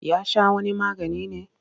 Ya sha wani magani ne?